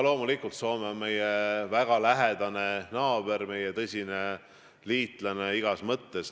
Loomulikult Soome on meie väga lähedane naaber, meie tõsine liitlane igas mõttes.